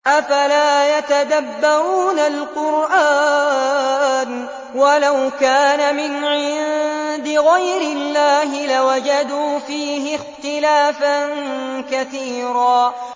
أَفَلَا يَتَدَبَّرُونَ الْقُرْآنَ ۚ وَلَوْ كَانَ مِنْ عِندِ غَيْرِ اللَّهِ لَوَجَدُوا فِيهِ اخْتِلَافًا كَثِيرًا